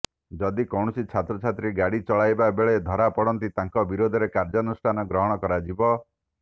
ଯଦି କୌଣସି ଛାତ୍ରଛାତ୍ରୀ ଗାଡ଼ି ଚଳାଇବା ବେଳେ ଧରାପଡ଼ନ୍ତି ତାଙ୍କ ବିରୋଧରେ କାର୍ଯ୍ୟାନୁଷ୍ଠାନ ଗ୍ରହଣ କରାଯିବ